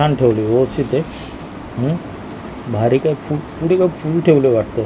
छान ठेवली आहे व्यवस्थित आहे अ भारी काय फू पुडी वर फूल ठेवले वाटतं.